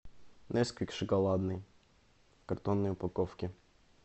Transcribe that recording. несквик шоколадный в картонной упаковке